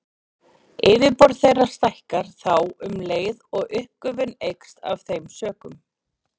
Yfirborð þeirra stækkar þá um leið og uppgufun eykst af þeim sökum.